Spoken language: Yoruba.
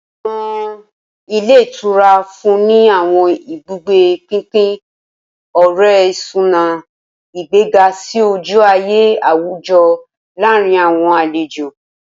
Awọn ilé ìtura nfunni ni awọn ibugbe pinpin ore-isuna, igbega si oju-aye awujọ laarin awọn alejo.